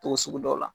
Togo sugu dɔ la